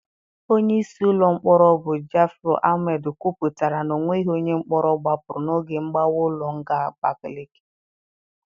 Onyeisi ụlọ mkpọrọ bụ Ja'afaru Almed kwuputara na onweghị onye mkpọrọ gbapụrụ n'oge mgbawa ụlọ nga Abakaleke.